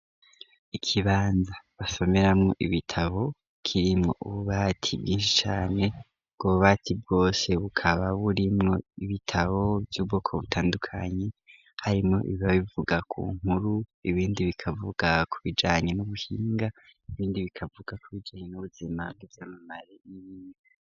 Ikibanza basomeramo ibitabo kirimwo ububati bwinshi cane, ubwo bubati bwose bukaba burimwo ibitabo vy'ubwoko butandukanye, harimwo ibiba bivuga ku nkuru, ibindi bikavuga ku bijanye n'ubuhinga, ibindi bikavuga ku bijanye n'ubuzima bw'ivyamamare.